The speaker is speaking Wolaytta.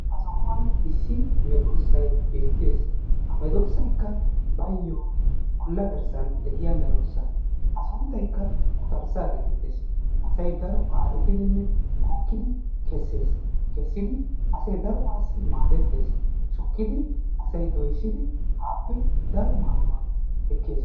Ha sohuwan issi meeddossay beettees. Ha meddoossaykka bayo olla garssan de'iya meddoossa. A sunttaykka quxxarssaa gettettees. Asay daro baxxetiddinne bookkidi kessees. Kessidi asay darobaassi maaddettees. Shukkidi, asay doyssidi aappe daro maaduwa ekkees.